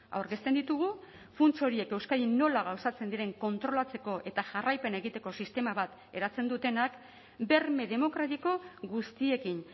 aurkezten ditugu funts horiek euskadin nola gauzatzen diren kontrolatzeko eta jarraipena egiteko sistema bat eratzen dutenak berme demokratiko guztiekin